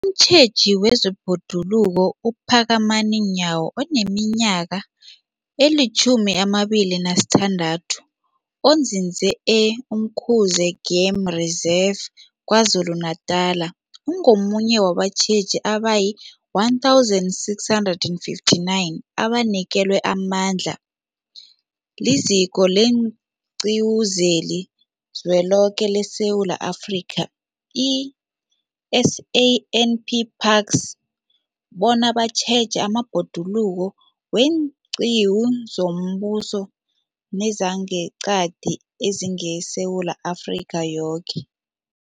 Umtjheji wezeBhoduluko uPhakamani Nyawo oneminyaka ema-26, onzinze e-Umkhuze Game Reserve KwaZulu-Natala, ungomunye wabatjheji abayi-1 659 abanikelwe amandla liZiko leenQiwu zeliZweloke leSewula Afrika, i-SAN P Parks, bona batjheje amabhoduluko weenqiwu zombuso nezangeqadi ezingeSewula Afrika yoke.